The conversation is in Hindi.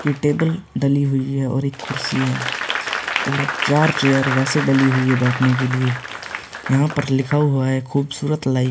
की टेबल डली हुई है और एक कुर्सी है और चार चेयर वैसे डली हुई है बैठने के लिए। यहाँ पर लिखा हुआ है खूबसूरत लाइफ ।